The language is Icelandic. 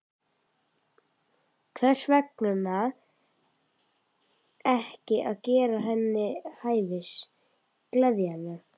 Hvers vegna ekki að gera henni til hæfis, gleðja hana?